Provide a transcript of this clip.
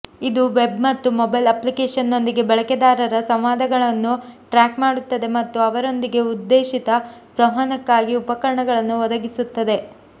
ಇದು ವೆಬ್ ಮತ್ತು ಮೊಬೈಲ್ ಅಪ್ಲಿಕೇಶನ್ನೊಂದಿಗೆ ಬಳಕೆದಾರರ ಸಂವಾದಗಳನ್ನು ಟ್ರ್ಯಾಕ್ ಮಾಡುತ್ತದೆ ಮತ್ತು ಅವರೊಂದಿಗೆ ಉದ್ದೇಶಿತ ಸಂವಹನಕ್ಕಾಗಿ ಉಪಕರಣಗಳನ್ನು ಒದಗಿಸುತ್ತದೆ